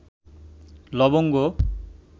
লবঙ্গ